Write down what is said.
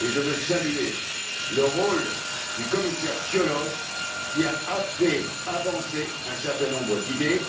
Je veux saluer le rôle du commissaire Cioloş, qui a fait avancer un certain nombre d'idées.